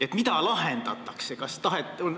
Mis probleemi lahendatakse?